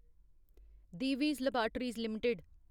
Divi's laboratories limited